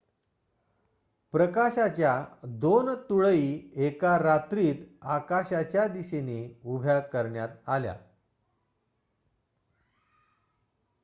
प्रकाशाच्या दोन तुळई एका रात्रीत आकाशाच्या दिशेने उभ्या करण्यात आल्या